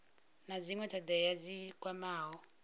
na dzinwe thodea dzi kwamaho